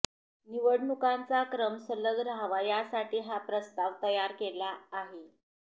निवडणुकांचा क्रम सलग राहावा यासाठी हा प्रस्ताव तयार केला आहे